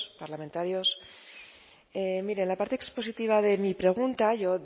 parlamentarios mire en la parte expositiva de mi pregunta yo